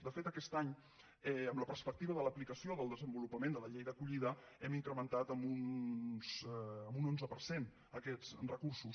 de fet aquest any amb la perspectiva de l’aplicació del desenvolupament de la llei d’acollida hem incrementat en un onze per cent aquests recursos